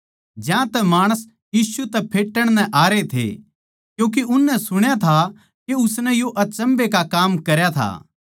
ज्यांतै माणस यीशु तै फेट्टण नै आरे थे क्यूँके उननै सुण्या था के उसनै यो अचम्भै का काम करया था